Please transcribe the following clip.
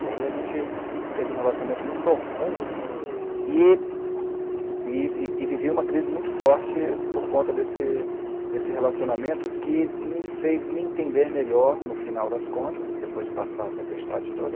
E aí a gente teve um relacionamento muito profundo e e e vivi uma crise muito forte por conta desse desse relacionamento que me fez me entender melhor no final das contas, depois de passar a tempestade toda.